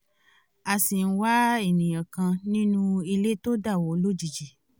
a ṣì ń wá ènìyàn kan nínú ilé tó dáwó lójijì